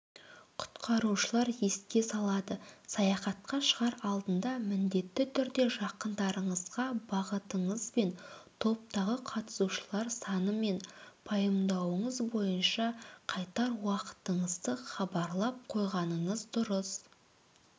құтқарушылар еске салады саяхатқа шығар алдында міндетті түрде жақындарыңызға бағытыңызбен топтағы қатысушылар санымен пайымдауыңыз бойынша қайтар уақытыңызды хабарлап қойғаныңыз дұрыс